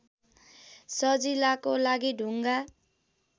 सजिलाको लागि ढुङ्गा